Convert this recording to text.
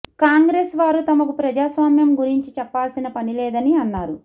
కాంగ్రెస్ వారు తమకు ప్రజాస్వామ్యం గురించి చెప్పాల్సిన పనిలేదని అన్నారు